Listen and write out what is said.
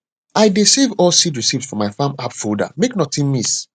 i dey save all seed receipt for my farm app folder make nothing miss